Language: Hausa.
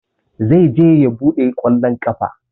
Zai je ya buga ƙwallon ƙafa.